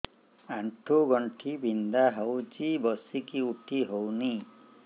ଆଣ୍ଠୁ ଗଣ୍ଠି ବିନ୍ଧା ହଉଚି ବସିକି ଉଠି ହଉନି